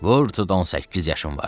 Vur tut on səkkiz yaşım vardı.